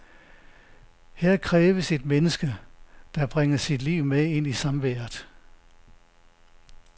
Her kræves et menneske, der bringer sit liv med ind i samværet.